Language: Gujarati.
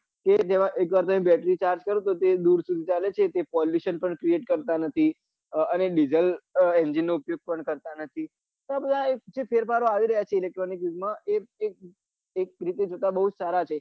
તેજ દ્રારા એક વાર બેટરી ચાર્જ કરીદો તે બેર ફૂકતા નથી તે polluion પન કરતા નથી અને ડીજલ engine નો ઉપયોગ કરતા નથી અને આ ફેરફારો આવી રહ્યા છે electronic યુગ માં એ રીતે જોતા ખુબ સારા છે